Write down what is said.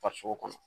Farisoko kɔnɔ